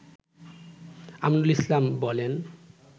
আমিনুল ইসলাম বলেন